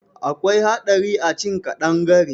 Akwai haɗari a cin ƙadangare.